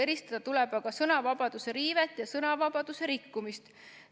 Eristada tuleb aga sõnavabaduse riivet ja sõnavabaduse rikkumist.